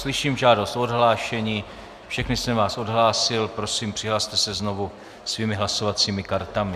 Slyším žádost o odhlášení, všechny jsem vás odhlásil, prosím, přihlaste se znovu svými hlasovacími kartami.